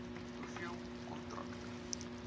hoeveel kontrakte